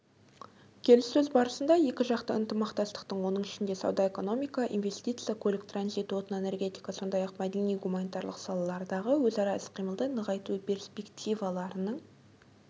келіссөз барысында екіжақты ынтымақтастықтың оның ішінде сауда-экономика инвестиция көлік-транзит отын-энергетика сондай-ақ мәдени-гуманитарлық салалардағы өзара іс-қимылды нығайту перспективаларының